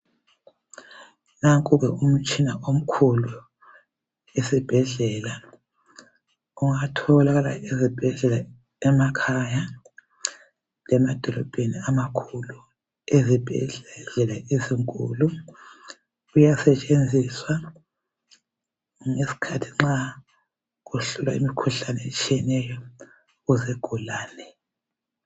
Nanku ke umtshina omkhulu esibhedlela. Ungatholakala ezibhedlela, emakhaya, lemadolobheni amakhulu, Ezibhedlela ezinkulu, uyasetshenziswa ngesikhathi nxa kuhlolwa imikhuhlane, etshiyeneyo, kuzigulane.